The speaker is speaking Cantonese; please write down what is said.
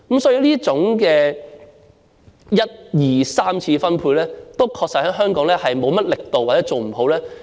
所以，這種一、二、三次分配確實在香港做得不好，亦缺乏力度。